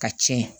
Ka cɛn